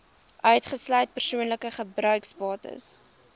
uitgesluit persoonlike gebruiksbates